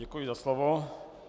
Děkuji za slovo.